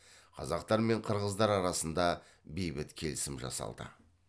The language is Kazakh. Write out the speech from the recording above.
қазақтар мен қырғыздар арасында бейбіт келісім жасалды